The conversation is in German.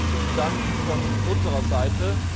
Herzlichen Dank von unserer Seite!